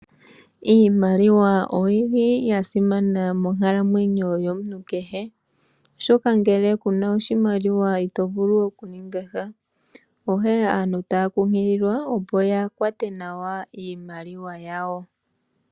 Iimaliwa oyili yasimana monkalamwenyo yomuntu kehe. Oshoka ngele kuna oshimaliwa ito vulu okuninga sha onkene aantu taya kunkililwa opo yakwate nawa iimaliwa yawo.